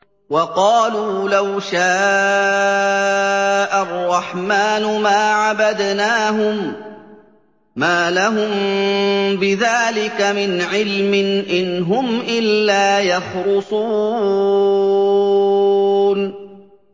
وَقَالُوا لَوْ شَاءَ الرَّحْمَٰنُ مَا عَبَدْنَاهُم ۗ مَّا لَهُم بِذَٰلِكَ مِنْ عِلْمٍ ۖ إِنْ هُمْ إِلَّا يَخْرُصُونَ